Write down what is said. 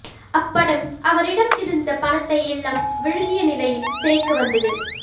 அப்படம் அவரிடம் இருந்த பணத்தை எல்லாம் விழுங்கிய நிலையில் திரைக்கு வந்தது